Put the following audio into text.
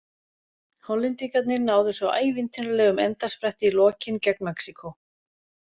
Hollendingarnir náðu svo ævintýralegum endaspretti í lokin gegn Mexíkó.